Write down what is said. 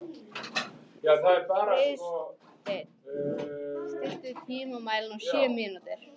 Friðsteinn, stilltu tímamælinn á sjö mínútur.